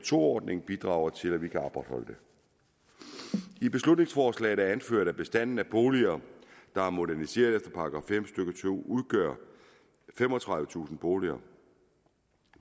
to ordningen bidrager til at vi kan opretholde det i beslutningsforslaget er det anført at bestanden af boliger der er moderniseret efter § fem stykke to udgør femogtredivetusind boliger